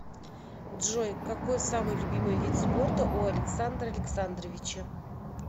джой какой самый любимый вид спорта у александра александровича